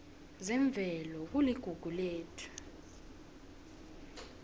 zemvelo kuligugu lethu